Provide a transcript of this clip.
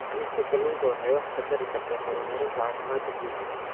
Cunista kalluunka waxay wax ka tari kartaa horumarinta caafimaadka guud.